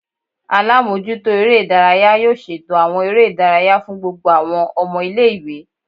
Alamojuto ere idaraya yoo ṣeto awọn ere idaraya fun gbogbo awọn ọmọ ile-iwe